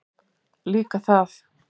Líka það.